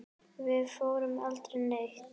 Við fórum aldrei neitt.